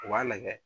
U b'a lajɛ